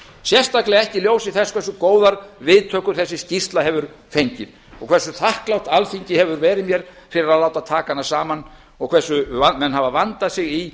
sérstaklega ekki í ljósi þess hversu góðar viðtökur þessi skýrsla hefur fengið og hversu þakklátt alþingi hefur verið mér fyrir að láta taka hana saman og hversu menn hafa vandað sig í